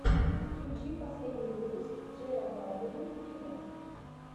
включи последний выпуск джея балвина виво